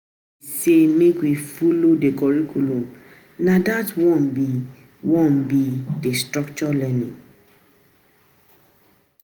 Dem sey make we folo di curriculum, na dat one be di one be di structured learning.